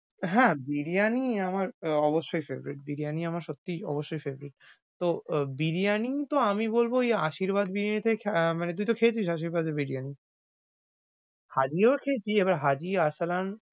হ্যাঁ, বিরিয়ানি আমার অবশ্যই favourite । বিরিয়ানি আমার সত্যিই অবশ্যই favourite । তো বিরিয়ানি তো আমি বলবো ঐ আশীর্বাদ বিরিয়ানি টায় খা~আহ মানে তুই তো খেয়েছিস আশীর্বাদের বিরিয়ানি? হাজীও খেয়েছি এবার হাজী আরসালান,